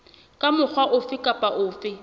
ka mokgwa ofe kapa ofe